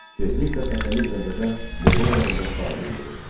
Tezliklə Fətəli Gəncədə molla yanında şagird olur.